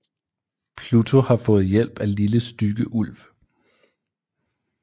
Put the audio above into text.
Pluto har fået hjælp af Lille Stygge Ulv